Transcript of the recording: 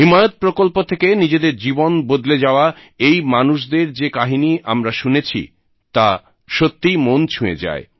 হিমায়ত প্রকল্প থেকে নিজেদের জীবন বদলে যাওয়া এই মানুষদের যে কাহিনী আমরা শুনেছি তা সত্যিই মন ছুঁয়ে যায়